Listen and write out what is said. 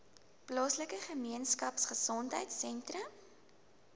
plaaslike gemeenskapgesondheid sentrum